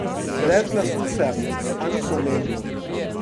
Brez glasu sem, a ni pomembno.